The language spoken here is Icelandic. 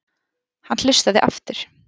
Hann hlustaði aftur.